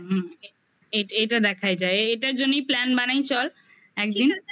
হুম হুম এটা দেখাই যায় এটার জন্যই plan বানাই চল একদিন